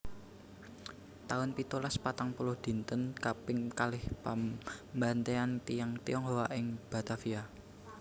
taun pitulas patang puluh Dinten kaping kalih pambantaian tiyang Tionghoa ing Batavia